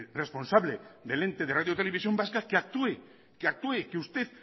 responsable del ente de radio televisión vasca que actúe que usted